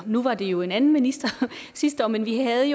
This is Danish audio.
nu var det jo en anden minister sidste år men vi havde